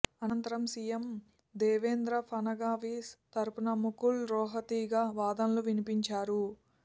అనంతరం సీఎం దేవేంద్ర ఫడణవీస్ తరఫున ముకుల్ రోహత్గీ వాదనలు వినిపించారు